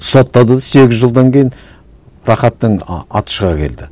соттады да сегіз жылдан кейін рахаттың аты шыға келді